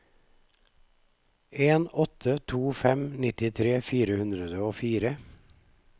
en åtte to fem nittitre fire hundre og fire